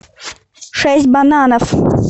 шесть бананов